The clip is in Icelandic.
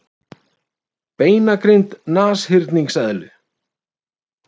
Beinagrind nashyrningseðlu.